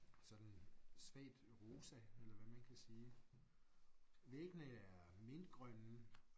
Sådan svagt rosa eller hvad man kan sige. Væggene er mintgrønne